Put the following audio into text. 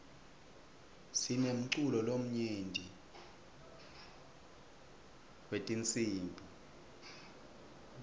sinemculo lomnyenti wetinsibi